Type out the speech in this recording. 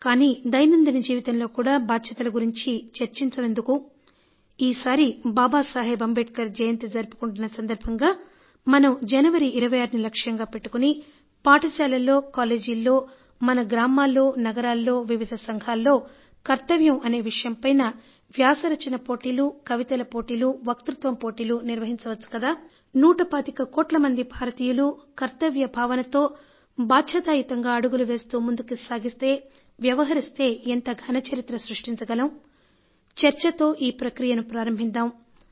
కానీ దైనందిన జీవితంలో కూడా బాధ్యతల గురించి చర్చిచమెందుకు ఈసారి బాబాసాహెబ్ అంబేద్కర్ జయంతి జరుపుకుంటున్న సందర్భంగా మనం జనవరి 26ని లక్ష్యంగా పెట్టుకొని పాఠశాలల్లో కాలేజీల్లో మన గ్రామాల్లో నగరాల్లో వివిధ సంఘాల్లో కర్తవ్యం అనే విషయం పైన వ్యాస రచన పోటీలు కవితల పోటీలు వక్తృత్వం పోటీలు నిర్వహించవచ్చు కదా నూట పాతిక కోట్ల మంది భారతీయులు కర్తవ్య భావనతో బాధ్యతాయుతంగా అడుగులు వేస్తూ ముందుకు సాగితే వ్యవహరిస్తే ఎంత ఘన చరిత్ర సృష్టించగలం చర్చతో ఈ ప్రక్రియ ప్రారంభిద్దాం